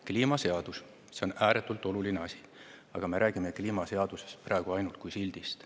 Kliimaseadus on ääretult oluline asi, aga me räägime kliimaseadusest praegu ainult kui sildist.